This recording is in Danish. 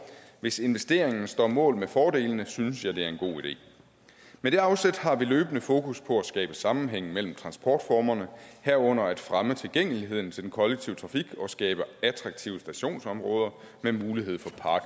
hvis investeringen står mål med fordelene synes jeg det er en god idé med det afsæt har vi løbende fokus på at skabe sammenhæng mellem transportformerne herunder at fremme tilgængeligheden til den kollektive trafik og skabe attraktive stationsområder med mulighed for park